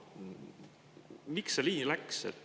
Miks see nii läks?